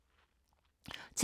TV 2